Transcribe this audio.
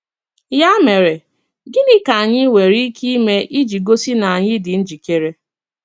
Yà mere, gịnị ka anyị nwere ike ime iji gosi na anyị dị njikere?